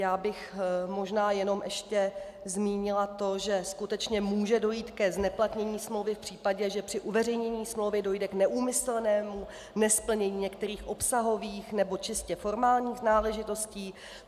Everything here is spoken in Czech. Já bych možná jenom ještě zmínila to, že skutečně může dojít ke zneplatnění smlouvy v případě, že při uveřejnění smlouvy dojde k neúmyslnému nesplnění některých obsahových nebo čistě formálních náležitostí.